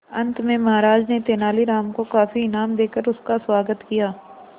अंत में महाराज ने तेनालीराम को काफी इनाम देकर उसका स्वागत किया